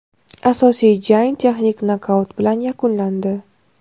Asosiy jang texnik nokaut bilan yakunlandi.